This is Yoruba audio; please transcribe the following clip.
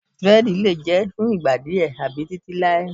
Dírẹ́díì lè jẹ́ fún ìgbà díè tàbí títí láé.